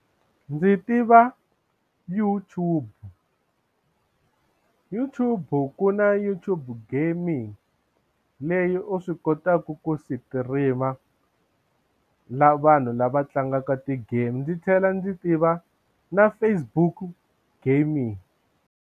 Ndzi tiva YouTube YouTube ku na YouTube gaming leyi u swi kotaka ku sitirima la vanhu lava tlangaka ti-game ndzi tlhela ndzi tiva na Facebook gaming.